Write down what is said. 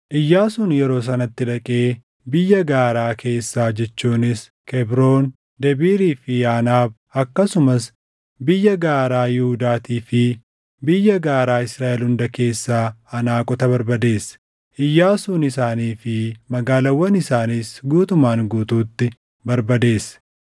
Iyyaasuun yeroo sanatti dhaqee biyya gaaraa keessaa jechuunis Kebroon, Debiirii fi Aanaab, akkasumas biyya gaaraa Yihuudaatii fi biyya gaaraa Israaʼel hunda keessaa Anaaqota barbadeesse. Iyyaasuun isaanii fi magaalaawwan isaaniis guutumaan guutuutti barbadeesse.